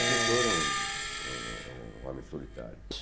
Um escritor é um é um é um homem solitário.